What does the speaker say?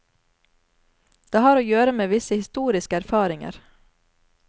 Det har å gjøre med visse historiske erfaringer.